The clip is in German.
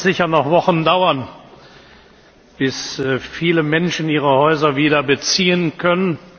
Es wird sicher noch Wochen dauern, bis viele Menschen ihre Häuser wieder beziehen können.